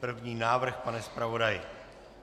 První návrh, pane zpravodaji.